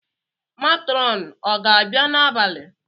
Matronu ọ ga-abịa n’abalị?